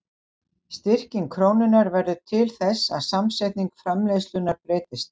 Styrking krónunnar verður til þess að samsetning framleiðslunnar breytist.